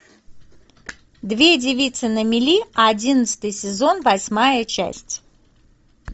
две девицы на мели одиннадцатый сезон восьмая часть